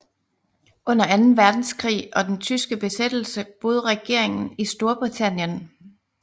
Under Anden Verdenskrig og den tyske besættelse boede regeringen i Storbritannien